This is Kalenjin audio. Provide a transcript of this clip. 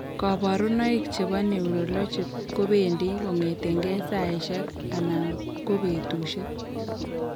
Kabarunoik chebo neurologic kobendi kong'etengei saisiek ana kobetusiek